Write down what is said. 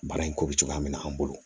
Baara in ko bɛ cogoya min na an bolo